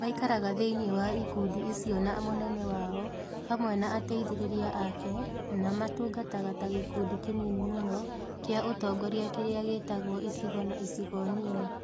Maikaraga thĩinĩ wa ikundi icio na mũnene wao hamwe na ateithĩrĩria ake matungataga ta gĩkundi kĩnini mũno kĩa ũtongoria kĩrĩa gĩĩtagwo icigo na icigo nini.